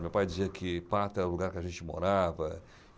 Meu pai dizia que Pata é o lugar que a gente morava.